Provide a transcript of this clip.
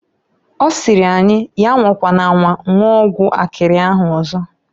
Ọ sịrị anyi, ya anwakwana anwa nwụọ ọgwụ akịrị ahụ ọzọ.